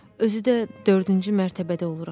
Özü də dördüncü mərtəbədə oluram.